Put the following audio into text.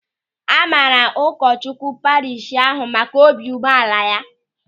A maara ụkọchukwu parishi ahụ maka obi umeala ya.